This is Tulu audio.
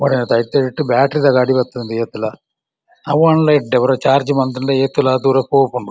ಬ್ಯಾಟ್‌ರಿದ ಗಾಡಿ ಬತ್ತುಂಡು ಏತ್‌ಲ ಅವಾಂಡ್ಲ ಎಡ್ಡೆ ಒರ ಚಾರ್ಜ್‌ ಮನ್ತಂಡ ಏತ್‌ಲ ದೂರ ಪೋಪುಂಡು.